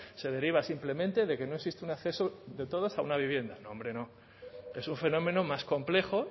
se deriva simplemente de que no existe un acceso de todos a una vivienda no hombre no es un fenómeno más complejo